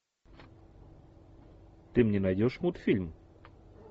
ты мне найдешь мультфильм